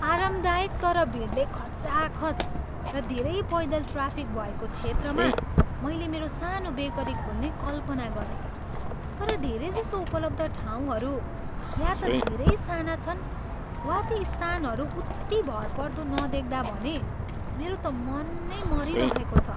आरामदायक तर भिडले खचाखच र धेरै पैदल ट्राफिक भएको क्षेत्रमा मैले मेरो सानो बेकरी खोल्ने कल्पना गरेँ, तर धेरैजसो उपलब्ध ठाउँहरू या त धेरै साना छन् वा ती स्थानहरू उत्ति भरपर्दो नदेख्दा भने मेरो त मन नै मरीरहेको छ।